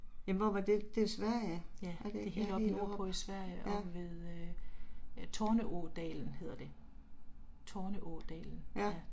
Ja, det er helt oppe nordpå i Sverige oppe ved, Torne-ådalen hedder det. Torne-ådalen